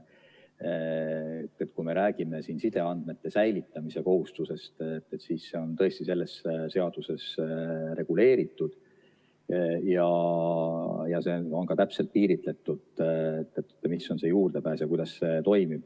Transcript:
Kui me räägime siin sideandmete säilitamise kohustusest, siis see on tõesti selles seaduses reguleeritud ja see on ka täpselt piiritletud, mis on juurdepääs ja kuidas see toimib.